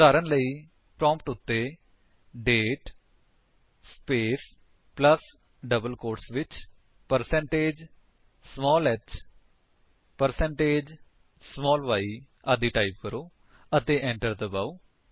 ਉਦਾਹਰਣ ਸਵਰੂਪ ਪ੍ਰੋਂਪਟ ਉੱਤੇ ਦਾਤੇ ਸਪੇਸ ਪਲੱਸ ਡਬਲ ਕੋਟਸ ਵਿੱਚ percentage small h percentage small y type ਕਰੋ ਅਤੇ enter ਦਬਾਓ